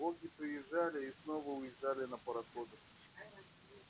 боги приезжали и снова уезжали на пароходах